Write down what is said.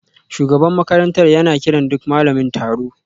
Shugaban makarantar yana kiran duk malamin taro